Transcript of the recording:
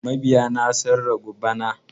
Mabiya na sun ragu bana.